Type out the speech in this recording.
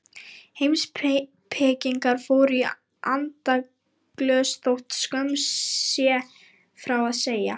Heimspekingar fóru í andaglös þótt skömm sé frá að segja.